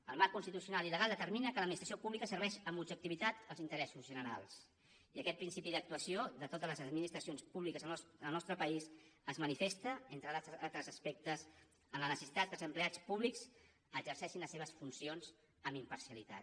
el marc legal constitucional i legal determina que l’administració pública serveix amb objectivitat els interessos generals i aquest principi d’actuació de totes les administracions públiques al nostre país es manifesta entre altres aspectes en la necessitat que els empleats públics exerceixin les seves funcions amb imparcialitat